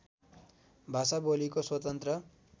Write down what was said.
भाषा बोलीको स्वतन्त्र